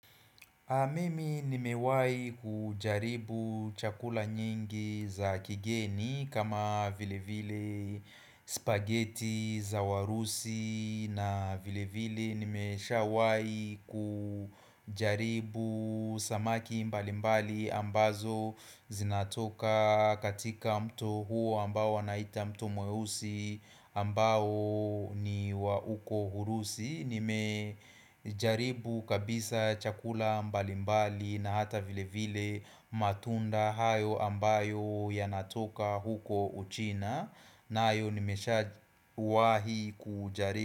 Mimi nimewahi kujaribu chakula nyingi za kigeni kama vile vile spaghetti za warusi na vile vile nimeshawahi kujaribu samaki mbali mbali ambazo zinatoka katika mto huo ambao wanaita mtu mweusi ambao ni wa uko hurusi. Nimejaribu kabisa chakula mbalimbali na hata vile vile matunda hayo ambayo yanatoka huko uchina nayo nimeshakuwahi kujaribu.